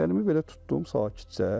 Əlimi belə tutdum sakitcə.